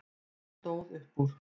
Hún stóð upp úr.